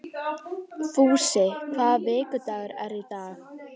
Fúsi, hvaða vikudagur er í dag?